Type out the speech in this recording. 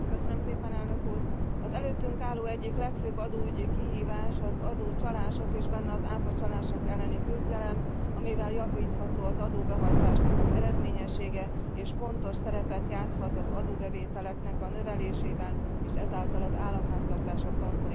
Az előttünk álló egyik legfőbb adóügyi kihívás az adócsalások és benne az áfacsalások elleni küzdelem, amivel javítható az adóbehajtás eredményessége, és fontos szerepet játszhat az adóbevételek növelésében és ezáltal az államháztartások konszolidációjában is.